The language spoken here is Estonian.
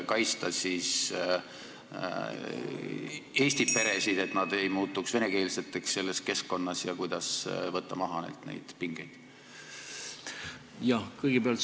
Kuidas siis kaitsta eesti peresid, et nad ei muutuks selles keskkonnas venekeelseks, ja kuidas neilt neid pingeid maha võtta?